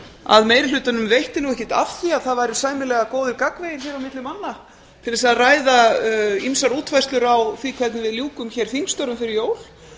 að meiri hlutanum veitti nú ekkert af því að það væri sæmilega góðir gagnvegir hér á milli manna til þess að ræða ýmsar útfærslur á því hvernig við ljúkum hér þingstörfum fyrir jól